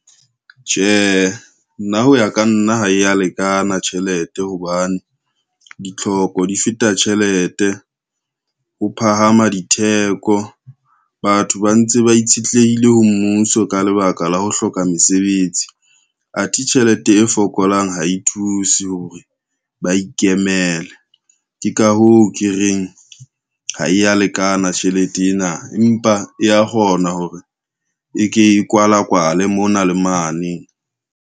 Tjhe, nna ho ya ka nna ha ya lekana tjhelete hobane, ditlhoko di feta tjhelete ho phahama ditheko. Batho ba ntse ba itshetlehile ho mmuso ka lebaka la ho hloka mesebetsi. Athe tjhelete e fokolang ha e thuse hore ba ikemele. Ke ka hoo ke reng ha ya lekana tjhelete ena, empa e ya kgona hore e ke e kwala kwale mona le mane.